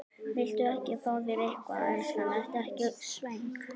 Viltu ekki fá þér eitthvað, elskan, ertu ekki svöng?